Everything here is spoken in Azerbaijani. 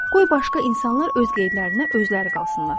Qoy başqa insanlar öz qayğılarına özləri qalsınlar.